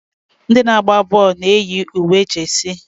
ndị na-agba bọọlụ na-eyi uwe jesi